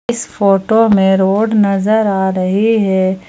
इस फोटो में रोड नजर आ रही है।